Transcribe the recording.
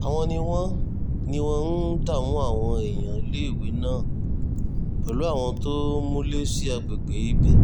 àwọn ni wọ́n ní wọ́n ń dààmú àwọn èèyàn níléèwé náà pẹ̀lú àwọn tó múlé sí àgbègbè ibẹ̀